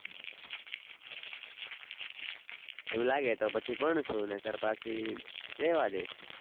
એવું લાગે તો પછી ભણશું નઈ કર પછી રેવા દેશું